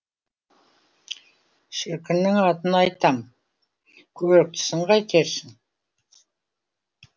шіркіннің атын айтам көріктісін қайтерсің